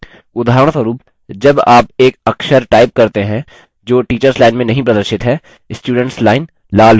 उदाहरणस्वरुप जब आप एक अक्षर type करते हैं जो teachers line में नहीं प्रदर्शित है student line लालरंग में बदल जाती है